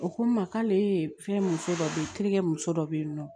O ko n ma k'ale ye fɛn muso dɔ bɛ ye terikɛ muso dɔ bɛ yen nɔ